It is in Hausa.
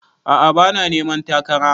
A'a bana neman takara